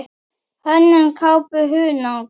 Hönnun kápu: Hunang.